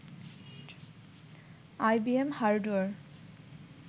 IBM hardware